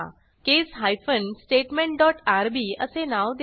केस hyphen statement dot RB असे नाव द्या